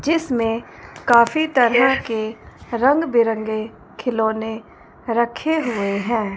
जिसमें काफी तरह के रंग बिरंगे खिलौने रखे हुए हैं।